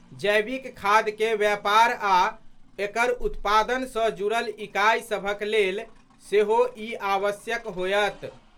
जैविक खाद के व्यापार आ एकर उत्पादन सँ जुड़ल इकाई सभक लेल सेहो ई आवश्यक होयत।